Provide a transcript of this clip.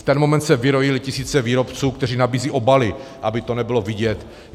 V ten moment se vyrojily tisíce výrobců, kteří nabízejí obaly, aby to nebylo vidět.